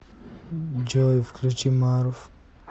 джой включи марув